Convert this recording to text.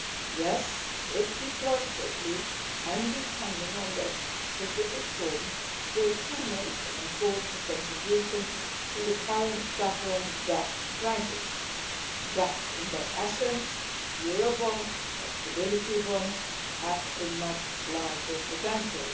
Yes, if deployed quickly, and depending on their specific form, they can make an important contribution to the current sovereign debt crisis, but in their essence Eurobonds or stability bonds have a much larger potential.